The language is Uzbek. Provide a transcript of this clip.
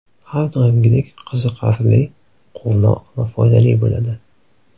Har doimgidek qiziqarli, quvnoq va foydali bo‘ladi!